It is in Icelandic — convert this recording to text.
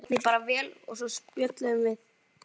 Hún tók því bara vel og svo spjölluðum við.